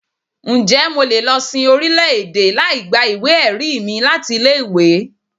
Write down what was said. Ǹjẹ́ mo lè lọ sin orílẹ̀-èdè láì gba ìwé-ẹ̀rí mi láti ilé-ìwé?